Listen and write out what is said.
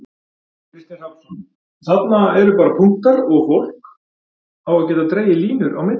Kristinn Hrafnsson: Þarna eru bara punktar og fólk á að geta dregið línur á milli?